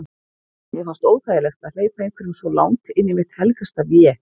Mér fannst óþægilegt að hleypa einhverjum svo langt inn í mitt helgasta vé.